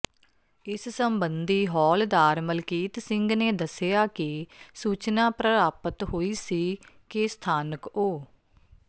ਇਸ ਸਬੰਧੀ ਹੌਲਦਾਰ ਮਲਕੀਤ ਸਿੰਘ ਨੇ ਦੱਸਿਆ ਕਿ ਸੂਚਨਾ ਪ੍ਰਰਾਪਤ ਹੋਈ ਸੀ ਕਿ ਸਥਾਨਕ ਉ